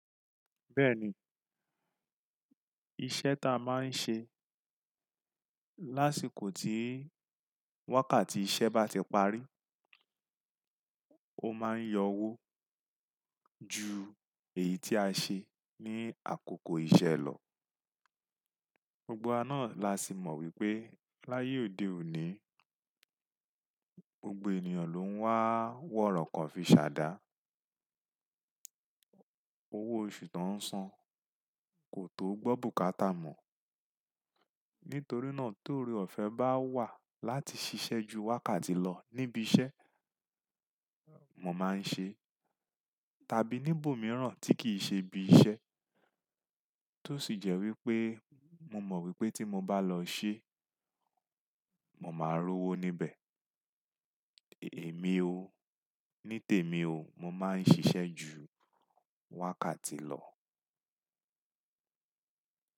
Bẹ́ẹ̀ni, iṣẹ́ ta máa ń ṣe lásìkò tí wákàtí iṣẹ́ bá ti parí, ó máa ń yọ owó ju èyí tí a ṣe ní àkókò iṣẹ́ lọ. Gbogbo wa náà la sì mọ̀ wípé láyé òde òní, gbogbo ènìyàn ló ń wá wọ̀rọ̀ kan fi ṣàdá. Owó oṣù tó ń san kò tó gbọ́n bùkátà mọ̀. Nítorí náà torí ọ̀fẹ́ bá wà láti ṣiṣẹ́ ju wákàtí lọ níbi iṣẹ́, mo máa ń ṣe, tàbí níbò mìíràn tí kì í ṣe bí iṣẹ́, tó sì jẹ́ wípé mo mọ̀ wípé tí mo bá lọ ṣe, mo máa rú owó níbẹ̀. Èmi o, ní tèmi o, mo máa ń ṣiṣẹ́ ju wákàtí lọ.